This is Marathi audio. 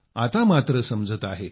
आता मात्र समजत आहे